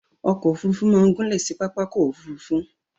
Okò òfurufú ma n gúnlè si pàpàkò òfurufú